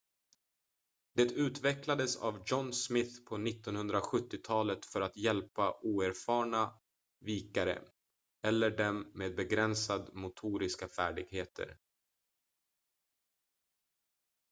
det utvecklades av john smith på 1970-talet för att hjälpa oerfarna vikare eller dem med begränsade motoriska färdigheter